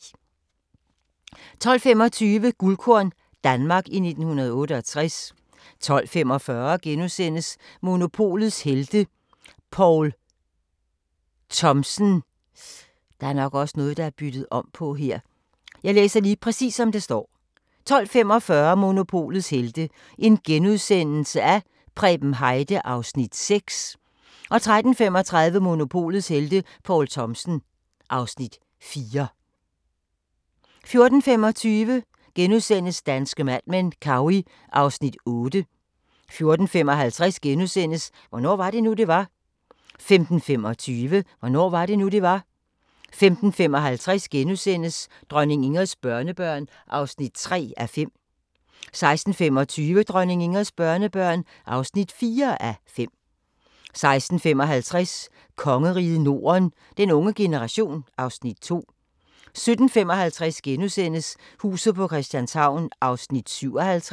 12:25: Guldkorn – Danmark i 1968 12:45: Monopolets helte - Preben Heide (Afs. 6)* 13:35: Monopolets helte - Poul Thomsen (Afs. 4) 14:25: Danske Mad Men: Cowey (Afs. 8)* 14:55: Hvornår var det nu, det var? * 15:25: Hvornår var det nu, det var? 15:55: Dronning Ingrids børnebørn (3:5)* 16:25: Dronning Ingrids børnebørn (4:5) 16:55: Kongeriget Norden - den unge generation (Afs. 2) 17:55: Huset på Christianshavn (57:84)*